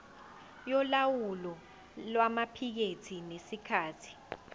yolawulo lwamaphikethi ngesikhathi